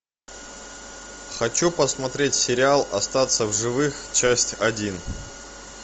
хочу посмотреть сериал остаться в живых часть один